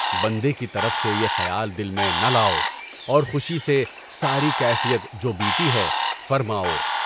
بندے کی طرف سے یہ خیال دل میں نہ لاؤ، اور خوشی سے ساری کیفیت جو بیتی ہے، فرماؤ۔